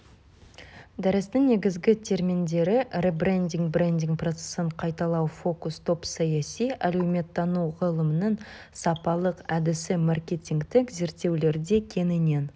дәрістің негізгі терминдері ребрендинг брендинг процесін қайталау фокус-топ саяси әлеуметтану ғылымының сапалық әдісі маркетингтік зерттеулерде кеңінен